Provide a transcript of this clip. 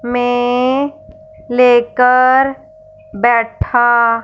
मैं लेकर बैठा--